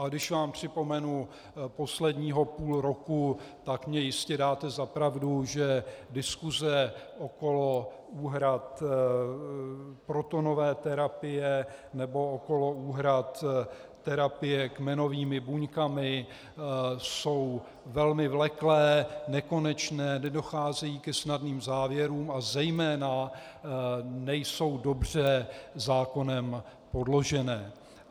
A když vám připomenu posledního půl roku, tak mně jistě dáte za pravdu, že diskuse okolo úhrad protonové terapie nebo okolo úhrad terapie kmenovými buňkami jsou velmi vleklé, nekonečné, nedocházejí ke snadným závěrům a zejména nejsou dobře zákonem podloženy.